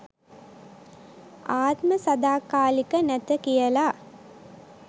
ආත්ම සදාකාලික නැත කියල